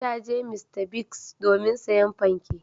Ta je Mr. Biggs domin sayen fanke.